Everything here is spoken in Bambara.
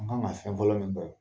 An kan ŋa fɛn fɔlɔ min